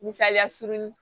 Misaliya surunin